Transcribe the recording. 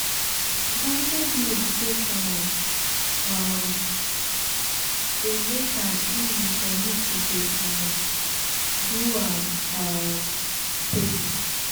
guided meditation um dey make am easy for me to dey um do am um steady.